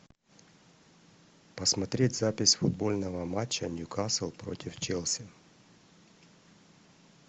посмотреть запись футбольного матча ньюкасл против челси